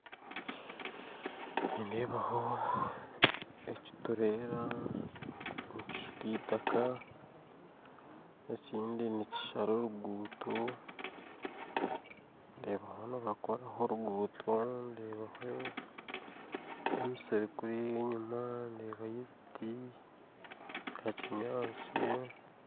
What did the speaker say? Nindebaho ekiturera nikishuka itaka ekindi nikishara oruguuto nindebaho nibakoraho oruguuto nindeebaho emisiri kuri enyuma nindebayo ebiti bya kinyatsi